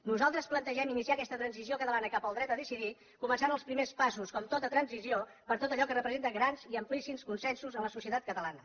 nosaltres plantegem iniciar aquesta transició catalana cap al dret a decidir començant els primers passos com tota transició per tot allò que representa grans i amplíssims consensos en la societat catalana